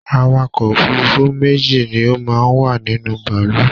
Àwàkọ̀ òfurùnfu méjì ni o máa n wa nínú bàálù